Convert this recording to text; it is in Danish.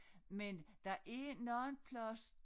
Men der er nogen plads